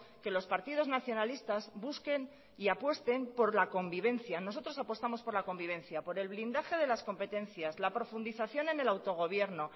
que los partidos nacionalistas busquen y apuesten por la convivencia nosotros apostamos por la convivencia por el blindaje de las competencias la profundización en el autogobierno